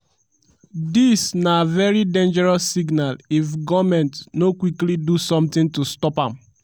dis na very dangerous signal if goment no quickly do sometin to stop am.